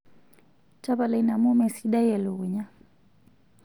tapala ina amuu mesidai elukunya